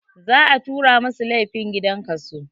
Za a tura masu laifin gidan kaso